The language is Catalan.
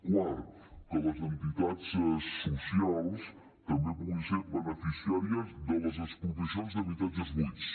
quart que les entitats socials també puguin ser beneficiàries de les expropiacions d’habitatges buits